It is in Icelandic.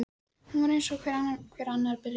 Hún var eins og hver annar byrjandi.